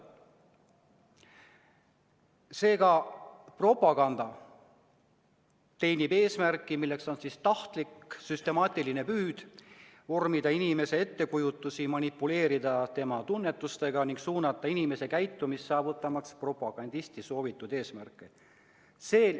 Seega, propaganda teenib eesmärki, milleks on tahtlik ja süstemaatiline püüd vormida inimese ettekujutusi, manipuleerida tema tunnetusega ning suunata inimese käitumist, saavutamaks propagandisti soovitud eesmärke.